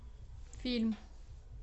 фильм